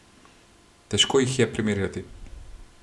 Težko jih je primerjati.